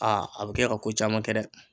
a bi kɛ ka ko caman kɛ dɛ